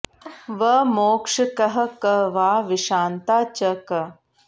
व मोक्ष कहः क वा विषान्ता च क